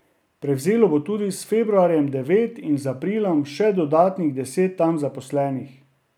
Prevzelo bo tudi s februarjem devet in z aprilom še dodatnih deset tam zaposlenih.